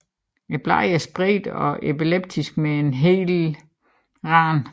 Bladene er spredte og elliptiske med hel rand